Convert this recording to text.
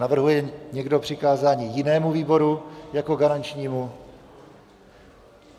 Navrhuje někdo přikázat jinému výboru jako garančnímu?